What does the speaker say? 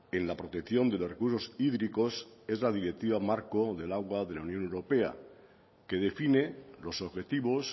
en la protección de los recursos hídricos es la directiva marco del agua de la unión europea que define los objetivos